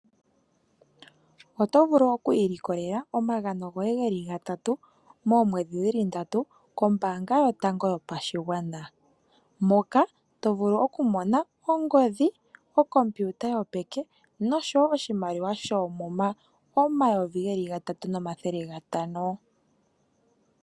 Oto vulu oku ilikolela omagano goye geli gatatu, moomwedhi dhili ndatu kOmbaanga yotango yopashigwana. Moka to vulu oku mona ongodhi, Okompiuta yopeke nosho wo oshimaliwa shoomuma omayovi gatatu nomathele gatano.